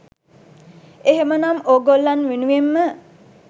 එහෙමනම් ඕගොල්ලන් වෙනුවෙන්ම